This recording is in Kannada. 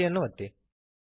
Enter ಅನ್ನು ಒತ್ತಿರಿ